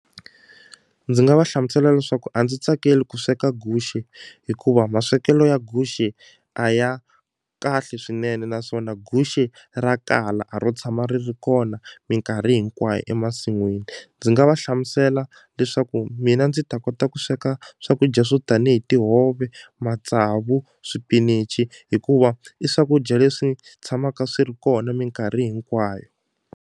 Ndzi nga va hlamusela leswaku a ndzi tsakeli ku sweka guxe hikuva maswekelo ya guxe a ya kahle swinene naswona guxe ra kala a ro tshama ri ri kona minkarhi hinkwayo emasin'wini ndzi nga va hlamusela leswaku mina ndzi ta kota ku sweka swakudya swo tanihi tihove matsavu swipinichi hikuva i swakudya leswi tshamaka swi ri kona minkarhi hinkwayo.